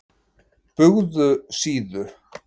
Bugðusíðu